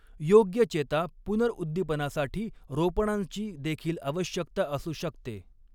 योग्य चेता पुनर्उद्दीपनासाठी रोपणांची देखील आवश्यकता असू शकते.